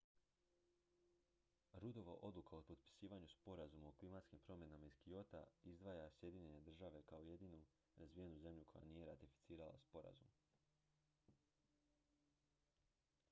ruddova odluka o potpisivanju sporazuma o klimatskim promjenama iz kyota izdvaja sjedinjene države kao jedinu razvijenu zemlju koja nije ratificirala sporazum